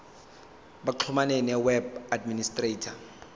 baxhumane noweb administrator